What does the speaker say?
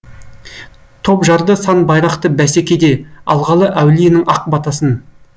топ жарды сан байрақты бәсекеде алғалы әулиенің ақ батасын